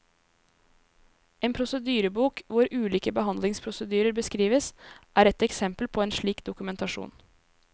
En prosedyrebok, hvor ulike behandlingsprosedyrer beskrives, er ett eksempel på en slik dokumentasjon.